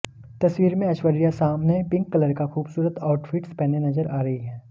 तस्वीर में ऐश्वर्या सामन पिंक कलर का खूबसूरत आउटफिट्स पहने नजर आ रही है